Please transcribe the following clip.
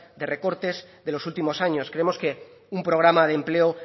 de recortes de los últimos años creemos que un programa de empleo